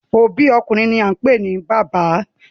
Obi okunrin ni a npe ni baba